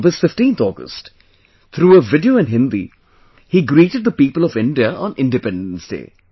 On this 15th August, through a video in Hindi, he greeted the people of India on Independence Day